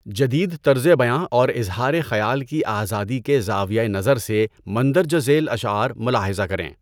جدید طرزِ بیاں اور اظہارِ خیال کی آزادی کے زاویہ نظر سے مندرجہ ذیل اشعار ملاحظہ کریں۔